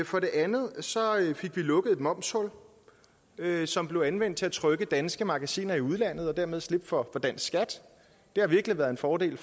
for det andet fik vi lukket et momshul som blev anvendt til at trykke danske magasiner i udlandet og dermed slippe for dansk skat det har virkelig været en fordel